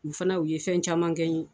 U fana u ye fɛn caman kɛ n ye